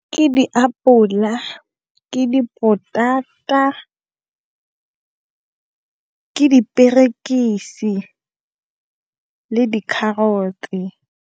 Ke diapola, ke dipotata, ke diperekisi, le di-carrot-se.